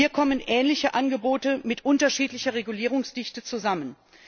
Hier kommen ähnliche Angebote mit unterschiedlicher Regulierungsdichte zusammen.